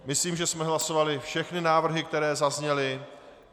Myslím, že jsme hlasovali všechny návrhy, které zazněly.